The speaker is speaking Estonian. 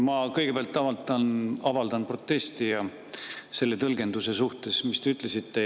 Ma kõigepealt avaldan protesti selle tõlgenduse vastu, mis te ütlesite.